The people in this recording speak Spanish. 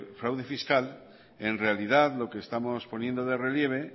fraude fiscal en realidad lo que estamos poniendo de relieve